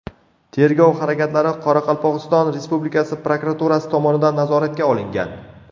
Tergov harakatlari Qoraqalpog‘iston Respublikasi prokuraturasi tomonidan nazoratga olingan.